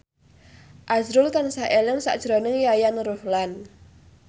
azrul tansah eling sakjroning Yayan Ruhlan